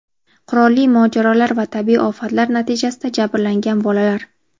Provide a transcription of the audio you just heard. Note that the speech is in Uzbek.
qurolli mojarolar va tabiiy ofatlar natijasida jabrlangan bolalar;.